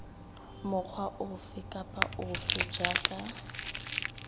mokgwa ofe kapa ofe jaaka